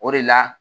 O de la